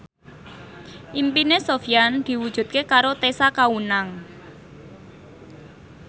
impine Sofyan diwujudke karo Tessa Kaunang